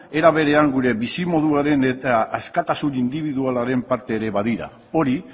era berean gure bizimoduaren eta askatasun indibidualaren parte ere badira hori